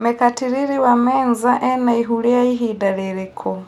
mekatilili wa menza ena ĩhu rĩa ĩhinda rĩrĩkũ